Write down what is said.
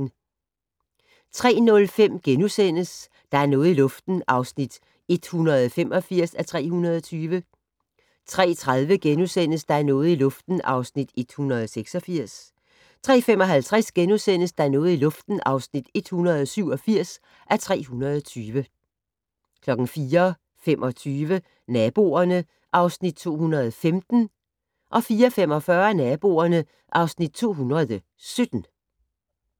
03:05: Der er noget i luften (185:320)* 03:30: Der er noget i luften (186:320)* 03:55: Der er noget i luften (187:320)* 04:25: Naboerne (Afs. 215) 04:45: Naboerne (Afs. 217)